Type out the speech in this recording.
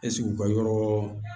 Ɛseke u ka yɔrɔ